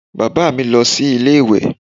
Bàbá mi lọ sí ilé ìwè